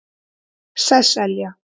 Sesselja